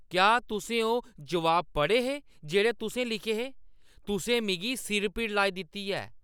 क्या तुसें ओह् जवाब पढ़े हे जेह्ड़े तुसें लिखे हे? तुसें मिगी सिर-पीड़ लाई दित्ती ऐ ।